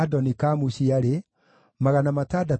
na andũ a Anathothu maarĩ 128